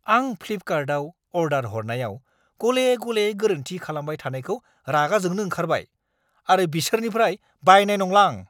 आं फ्लिफकार्टआव अर्डार हरनायाव गले-गले गोरोन्थि खालामबाय थानायखौ रागा जोंनो ओंखारबाय आरो बिसोरनिफ्राय बायनाय नंला आं।